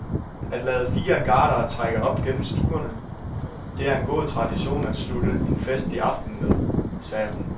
At lade fire gardere trække op gennem stuerne, det er en god tradition at slutte en festlig aften med, sagde hun.